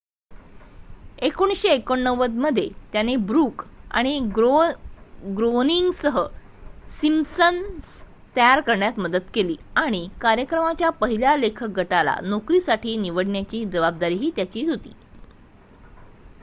१९८९ मध्ये त्याने ब्रूक आणि ग्रोअनिंगसह सिम्पसन्स तयार करण्यात मदत केली आणि कार्यक्रमाच्या पहिल्या लेखक गटाला नोकरीसाठी निवडण्याची जबाबदारीही त्याची होती